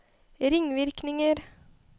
ringvirkninger